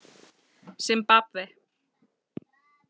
Simbabve